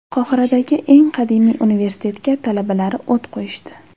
Qohiradagi eng qadimiy universitetga talabalari o‘t qo‘yishdi.